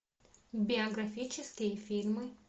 биографические фильмы